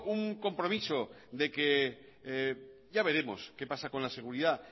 un compromiso de que ya veremos qué pasa con la seguridad